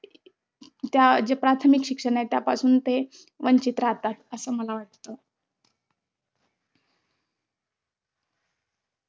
त्या जे प्राथमिक शिक्षण आहे. त्यापासून ते वंचित राहतात अस मला वाटतं.